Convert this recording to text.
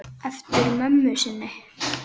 Eftir mömmu sinni.